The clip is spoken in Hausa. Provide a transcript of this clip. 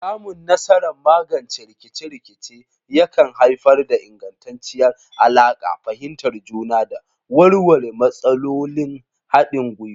Samun nasarar magance rikice-rikice yakan haifar da ingantacciyar alaƙa, fahimtar juna, da warware matsalolin haɗin gwiwa.